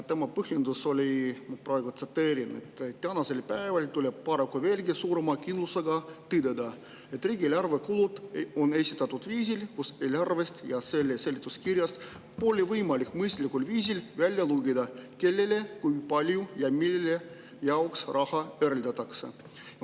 Tema põhjendus oli, praegu tsiteerin: "Täna tuleb paraku veelgi suurema kindlusega tõdeda, et riigieelarve kulud on esitatud viisil, kus eelarvest ja selle seletuskirjast pole võimalik mõistlikul viisil välja lugeda, kellele, kui palju ja mille jaoks raha eraldatakse.